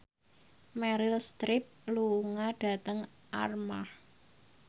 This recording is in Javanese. Meryl Streep lunga dhateng Armargh